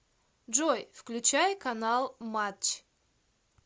джой включай канал матч